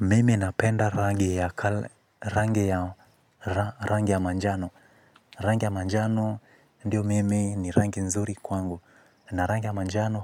Mimi napenda rangi ya manjano. Rangi ya manjano ndio mimi ni rangi nzuri kwangu. Na rangi ya manjano